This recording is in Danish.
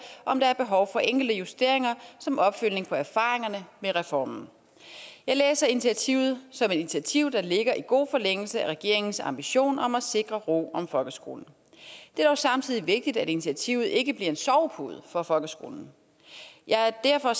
om der er behov for enkelte justeringer som opfølgning på erfaringerne med reformen jeg læser initiativet som et initiativ der ligger godt i forlængelse af regeringens ambition om at sikre ro om folkeskolen det er dog samtidig vigtigt at initiativet ikke bliver en sovepude for folkeskolen jeg er derfor